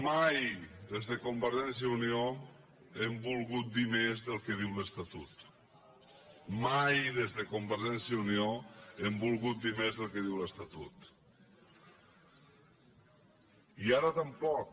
mai des de convergència i unió hem volgut dir més del que diu l’estatut mai des de convergència i unió hem volgut dir més del que diu l’estatut i ara tampoc